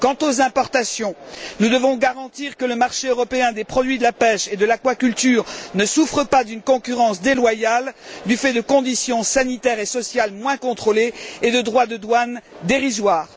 Quant aux importations, nous devons garantir que le marché européen des produits de la pêche et de l'aquaculture ne souffre pas d'une concurrence déloyale du fait de conditions sanitaires et sociales moins contrôlées et de droits de douane dérisoires.